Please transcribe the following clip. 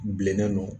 Bilennen don